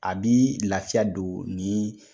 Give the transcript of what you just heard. A bi lafiya don ni